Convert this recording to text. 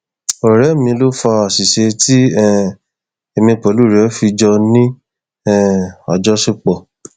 ọrẹ mi ló fa àṣìṣe tí um èmi pẹlú rẹ fi jọ ní um àjọṣepọ